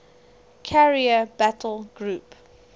carrier battle group